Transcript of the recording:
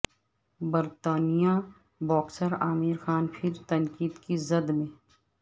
برطانوی باکسر عامر خان پھر تنقید کی زد میں